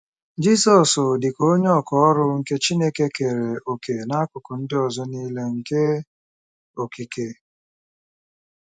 Jizọs, dị ka “onye ọkà ọrụ” nke Chineke, keere òkè n'akụkụ ndị ọzọ nile nke okike.